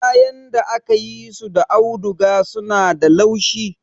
Kayan da aka yi su da auduga suna da laushi.